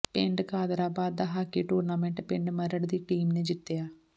ਪਿੰਡ ਕਾਦਰਾਬਾਦ ਦਾ hockey tournament ਪਿੰਡ ਮਰੜ ਦੀ ਟੀਮ ਨੇ ਜਿੱਤਿਆ